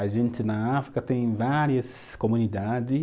A gente na África tem várias comunidade